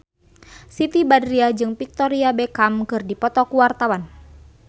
Siti Badriah jeung Victoria Beckham keur dipoto ku wartawan